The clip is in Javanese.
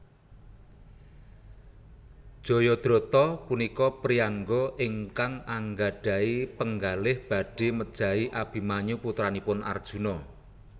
Jayadrata punika priyangga ingkang anggadhahi penggalih badhé mejahi Abimanyu putranipun Arjuna